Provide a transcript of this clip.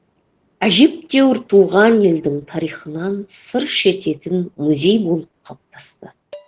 әжептәуір туған елдің тарихынан сыр шертетін музей болып қалыптасты